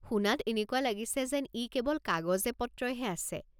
শুনাত এনেকুৱা লাগিছে যেন ই কেৱল কাগজে পত্ৰইহে আছে।